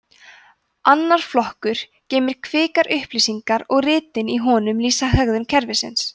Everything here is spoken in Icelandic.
annar flokkurinn geymir kvikar upplýsingar og ritin í honum lýsa hegðun kerfisins